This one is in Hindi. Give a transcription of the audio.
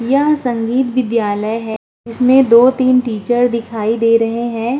यहाँ संगीत विद्यालय है जिसमे दो-तीन टीचर दिखाई दे रहे हैं।